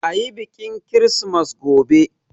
Ayi biƙin kirismas gobe!